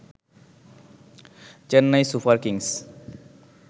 Chennai Super Kings